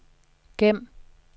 gem